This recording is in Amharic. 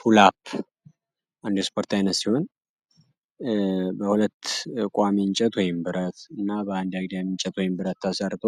ፑልአፕ አንዱ የስፖርት አይነት ሲሆን በሁለት ቋሚ እንጨቶች ወይም ደግሞ ብረት እና በአንድ አግዳሚ እንጨት ወይም ብረት ተሰርቶ